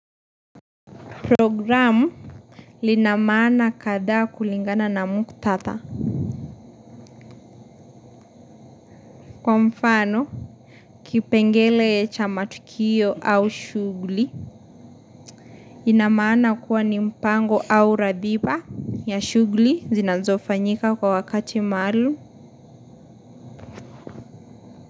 Programu lina maana kadha kulingana na muktadha. Kwa mfano, kipengele chamatukio au shuguli. Inamana kuwa nimpango au radhiba, ya shuguli zinazofanyika kwa wakati maalum.